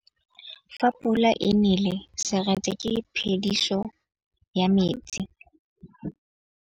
Fa pula e nelê serêtsê ke phêdisô ya metsi.